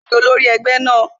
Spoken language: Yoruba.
Lóla ni olórí egbe náà